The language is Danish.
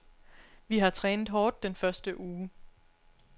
Vi har trænet hårdt den første uge.